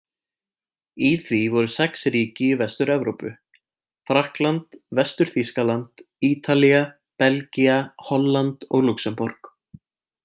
Í því voru sex ríki í Vestur-Evrópu: Frakkland, Vestur-Þýskaland, Ítalía, Belgía, Holland og Lúxemborg.